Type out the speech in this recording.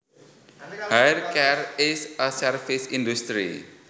Hair care is a service industry